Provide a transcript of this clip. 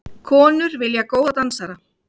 Konur vilja góða dansara